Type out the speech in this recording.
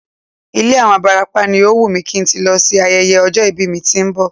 Ilé àwọn abarapá ni ó wùn kí n tí lọ ṣe ayẹyẹ ọjọ́ ìbí mi tó ń bọ̀